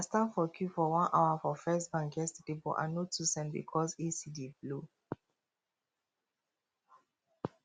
i stand for queue for one hour for first bank yesterday but i no too send because ac dey blow